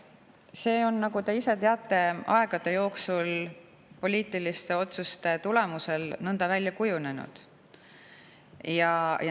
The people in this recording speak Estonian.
See on, nagu te ise teate, aegade jooksul poliitiliste otsuste tulemusel nõnda välja kujunenud.